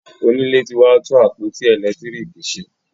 Onílé ti wá tún àpótí elekitiriki ṣe